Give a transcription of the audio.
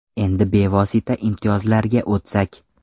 Endi bevosita imtiyozlarga o‘tsak.